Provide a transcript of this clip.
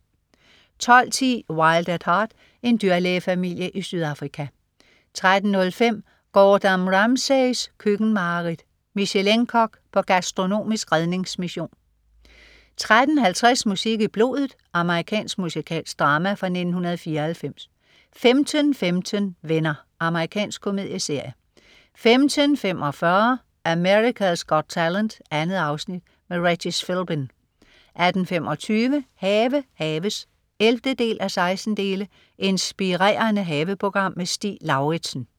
12.10 Wild at Heart. En dyrlægefamilie i Sydafrika 13.05 Gordon Ramsays køkkenmareridt. Michelin-kok på gastronomisk redningsmission 13.50 Musik i blodet. Amerikansk musikalsk drama fra 1994 15.15 Venner. Amerikansk komedieserie 15.45 America's Got Talent. 2 afsnit. Regis Philbin 18.25 Have haves 11:16. Inspirerende haveprogram. Stig Lauritsen